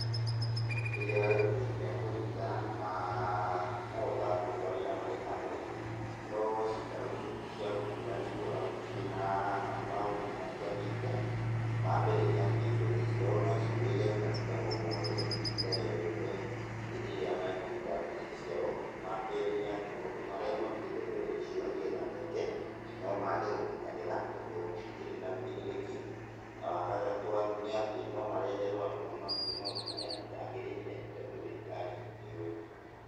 Rĩrĩa arĩmi mekũnyitana na makahotaga kũruta wĩra me hamwe, no ciikaro icio ti cia gũtũra nĩ ikoragwo ciĩna maũru matiganĩte; wa mbere nĩ atĩ mbeca ciao no cĩũrĩre kahinda gogothe, ihinda o rioriothe hĩndĩ ĩrĩa mekũruta mbeca ciao, wakerĩ nĩ atĩ maũndũ marĩa marutĩte mbeca icio nĩgetha meke, no mage gũkinyanĩra tondũ gũtikĩrĩ na wũigĩrĩrĩki, na wagatatũ nĩ atĩ no mareherwo andũ mamarute maũndũ marĩa matagĩrĩire tondũ thirikari ndĩũĩ.